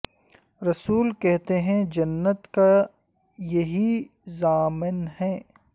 رسول کہتے ہیں جنت کا یہ ہی ضامن ہے